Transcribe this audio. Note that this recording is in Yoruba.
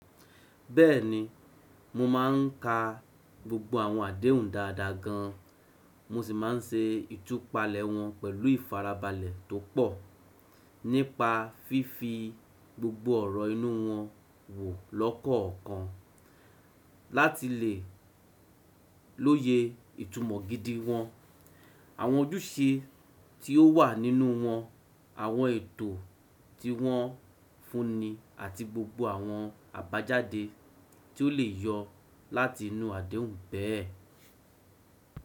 Bẹ́ẹ̀ni, mo máà ń ka gbogbo àwọn àdéhùn dáadáa gan, mo sì máa ń se ìtúpalẹ̀ wọn pẹ̀lú ìfarabalẹ̀ tó pọ̀, nípa fífi gbogbo ọ̀rọ̀ inú wọn wò lọ́kọ̀ọ̀kan láti lè lóye ìtumọ̀ gidi wọn, àwọn ojúṣe tí ó wà nínú wọn, àwọn ètò tí wọn fúnmi àti gbogbo àwọn àbájáde tí ó lè yọ láti inú àdéhùn bẹ́ẹ̀.